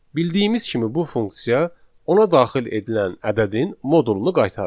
Bildiyimiz kimi bu funksiya ona daxil edilən ədədin modulunu qaytarır.